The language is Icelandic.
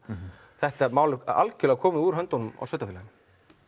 þetta mál er algjörlega komið úr höndunum á sveitafélaginu